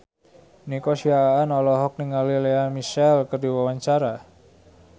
Nico Siahaan olohok ningali Lea Michele keur diwawancara